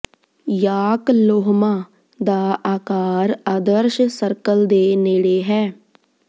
York ਲੋਹਮਾ ਦਾ ਆਕਾਰ ਆਦਰਸ਼ ਸਰਕਲ ਦੇ ਨੇੜੇ ਹੈ